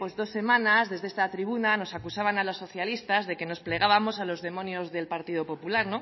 dos semanas desde esta tribuna nos acusaban a los socialistas de que nos plegábamos a los demonios del partido popular